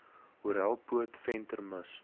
horrelpoot venter mis